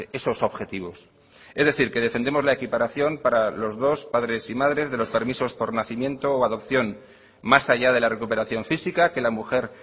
esos objetivos es decir que defendemos la equiparación para los dos padres y madres de los permisos por nacimiento o adopción más allá de la recuperación física que la mujer